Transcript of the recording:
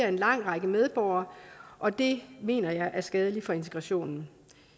en lang række medborgere og det mener jeg er skadeligt for integrationen